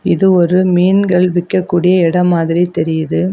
இது ஒரு மீன்கள் விக்க கூடிய எடம் மாதிரி தெரியுது.